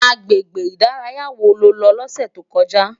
Agbégbé idàráyá wó ló lò lòsè tókòjá?